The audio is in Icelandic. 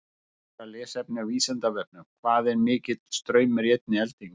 Frekara lesefni á Vísindavefnum: Hvað er mikill straumur í einni eldingu?